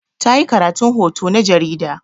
Ta yi karatun hoto na jarida.